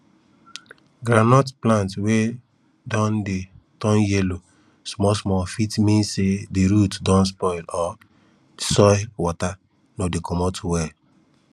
groundnut plant wey don dey turn yellow small small fit mean say di root don spoil or di soil water no dey comot well